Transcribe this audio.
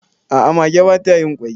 a ' a mage ba ta yin kwai